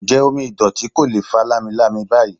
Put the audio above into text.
Ǹjẹ́ omi ìdọ̀tí kò ló fa lamilami báyìí?